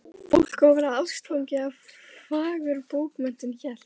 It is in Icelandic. Fólk á að verða ástfangið af fagurbókmenntum hélt